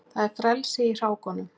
Það er frelsi í hrákunum.